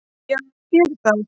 Já ég geri það.